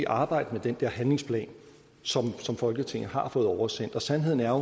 arbejdes med den der handlingsplan som folketinget har fået oversendt og sandheden er